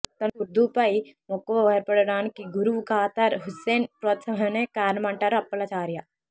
తనకు ఉర్దూపై మక్కువ ఏర్పడటానికి గురువు ఖాదర్ హుస్సేన్ ప్రోత్సాహమే కారణమంటారు అప్పలాచార్య